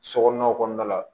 Sokɔnɔna kɔnɔna la